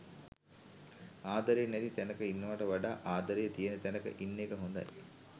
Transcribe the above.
ආදරේ නැති තැනක ඉන්නවට වඩා ආදරේ තියෙන තැනක ඉන්න එක හොඳයි